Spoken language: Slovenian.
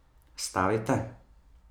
Stavite?